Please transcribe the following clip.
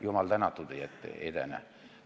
Jumal tänatud, et ei edene!